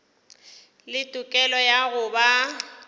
le tokelo ya go ba